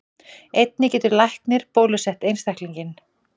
Einnig getur læknir bólusett einstaklinginn.